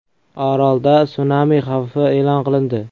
Orolda sunami xavfi e’lon qilindi.